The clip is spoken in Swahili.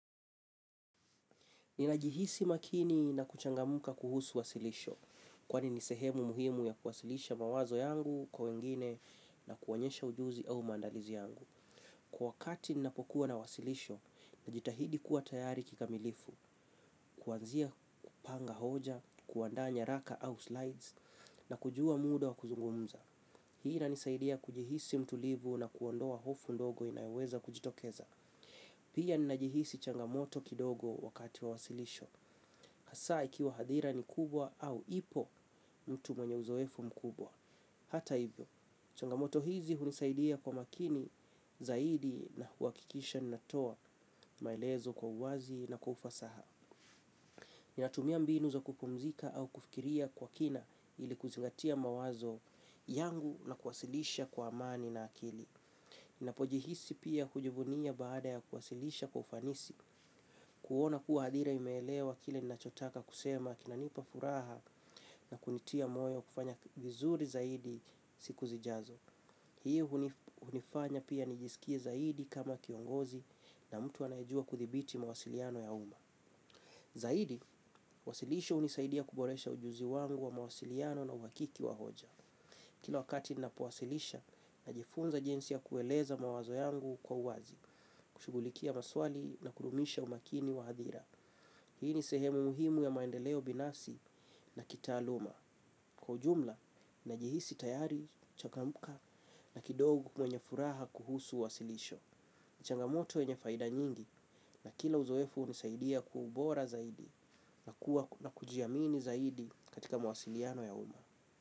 Ninajihisi makini na kuchangamka kuhusu wasilisho, kwani ni sehemu muhimu ya kuwasilisha mawazo yangu kwa wengine na kuonyesha ujuzi au maandalizi yangu. Kwa wakati ninapokuwa na wasilisho, najitahidi kuwa tayari kikamilifu, kuanzia kupanga hoja, kuandaa nyaraka au slides, nakujua muda wa kuzungumza. Hii inanisaidia kujihisi mtulivu na kuondoa hofu ndogo inayoweza kujitokeza. Pia ninajihisi changamoto kidogo wakati wa wasilisho. Hasa ikiwa hadhira ni kubwa au ipo mtu mwenye uzoefu mkubwa hata hivyo, changamoto hizi hunisaidia kwa makini zaidi na huhakikisha natoa maelezo kwa uwazi na kwa ufasaha. Ninatumia mbinu za kupumzika au kufikiria kwa kina ili kuzingatia mawazo yangu na kuwasilisha kwa amani na akili. Ninapojihisi pia kujivunia baada ya kuwasilisha kwa ufanisi kuona kuwa hadhira imeelewa kile ninachotaka kusema kinanipa furaha na kunitia moyo kufanya vizuri zaidi siku zijazo. Hii hunifanya pia nijisikie zaidi kama kiongozi na mtu anajua kudhibiti mawasiliano ya umma. Zaidi, wasilisho hunisaidia kuboresha ujuzi wangu wa mawasiliano na uhakiki wa hoja. Kila wakati ninapowasilisha, najifunza jinsi kueleza mawazo yangu kwa uwazi, kushughulikia maswali na kudumisha umakini wa hadhira. Hii ni sehemu muhimu ya maendeleo binafsi na kitaaluma. Kwa ujumla, najihisi tayari, mchangamfu na kidogu mwenye furaha kuhusu wasilisho. Changamoto wenye faida nyingi na kila uzoefu hunisaidia kwa ubora zaidi na kujiamini zaidi katika mwasiliano ya umma.